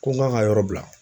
Ko n k'a ka yɔrɔ bila